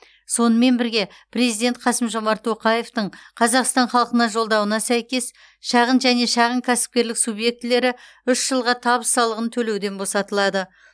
сонымен бірге президент қасым жомарт тоқаевтың қазақстан халқына жолдауына сәйкес шағын және шағын кәсіпкерлік субъектілері үш жылға табыс салығын төлеуден босатылады